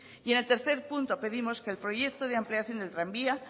y en el tercer punto pedimos que el proyecto de ampliación del tranvía